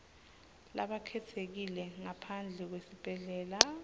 labakhetsekile ngaphandle kwesibhedlela